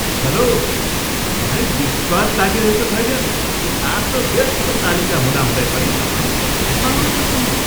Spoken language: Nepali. हेल्लो! मलाई विश्वास लागिरहेको छैन कि आफ्नो व्यस्त तालिका हुँदाहुँदै पनि तपाईँ बैठकमा आउन सक्नुभयो!